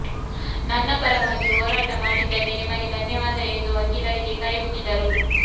ನನ್ನ ಪರವಾಗಿ ಹೋರಾಟ ಮಾಡಿದ್ದಕ್ಕೆ ನಿಮಗೆ ಧನ್ಯವಾದ ಎಂದು ವಕೀಲರಿಗೆ ಕೈ ಮುಗಿದರು